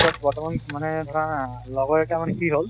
বৰ্তমান মানে ধৰা লগৰ এটা মানে কি হল